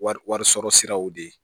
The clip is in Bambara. Wari wari sɔrɔ siraw de ye